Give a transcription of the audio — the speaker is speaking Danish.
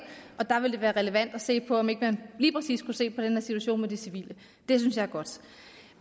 og der vil det være relevant at se på om ikke man lige præcis skulle se på den her situation med de civile det synes jeg er godt